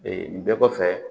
nin bɛɛ kɔfɛ